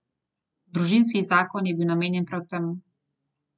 Družinski zakon je bil namenjen prav temu.